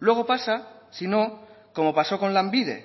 luego pasa si no como pasó con lanbide